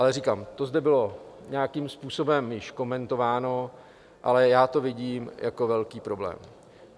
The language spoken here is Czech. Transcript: Ale říkám, to zde bylo nějakým způsobem již komentováno, ale já to vidím jako velký problém.